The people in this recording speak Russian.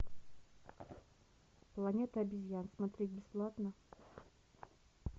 планета обезьян смотреть бесплатно